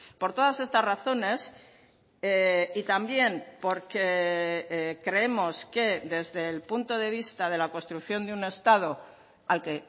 por todas estas razones y también porque creemos que desde el punto de vista de la construcción de un estado al que